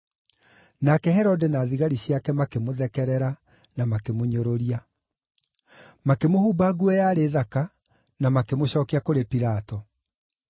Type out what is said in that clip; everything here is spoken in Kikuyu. Nake Herode na thigari ciake makĩmũthekerera na makĩmũnyũrũria. Makĩmũhumba nguo yarĩ thaka, na makĩmũcookia kũrĩ Pilato.